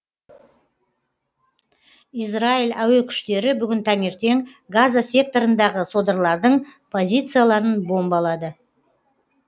израиль әуе күштері бүгін таңертең газа секторындағы содырлардың позицияларын бомбалады